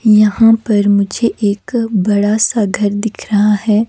यहां पर मुझे एक बड़ा सा घर दिख रहा है।